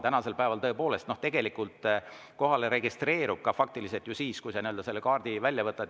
Tänasel päeval, tõepoolest, tegelikult kohale registreerub ka faktiliselt ju siis, kui sa oma kaardi välja võtad.